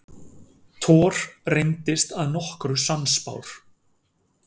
Thor reyndist að nokkru sannspár.